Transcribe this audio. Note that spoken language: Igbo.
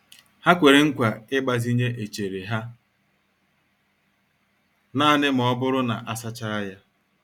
Ha kwere nkwa ịgbazinye echere ha naanị ma ọ bụrụ na a sachaa ya.